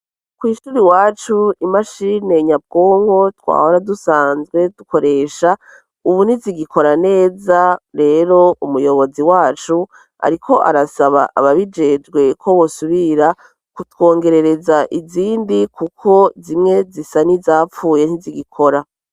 Kw'ishuri iwacu imashine nyabwonko twahora dusanzwe dukoresha ubu ntizigikora neza, rero umuyobozi wacu ariko arasaba ababijejwe ko bosubira kutwongerereza izindi kuko zimwe zisa nizapfuye ntizigikora.